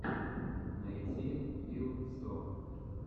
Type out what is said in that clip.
найти вил сто